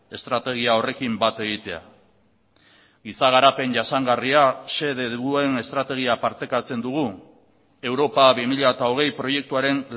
estrategia horrekin bat egitea giza garapen jasangarria xede duen estrategia partekatzen dugu europa bi mila hogei proiektuaren